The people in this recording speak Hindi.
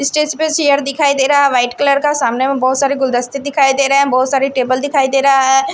स्टेज पर चेयर दिखाई दे रहा है वाइट कलर का सामने में बहुत सारे गुलदस्ते दिखाई दे रहे हैं बहुत सारे टेबल दिखाई दे रहा है।